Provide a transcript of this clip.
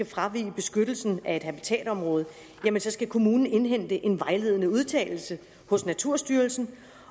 fravige beskyttelsen af et habitatområde så skal kommunen indhente en vejledende udtalelse hos naturstyrelsen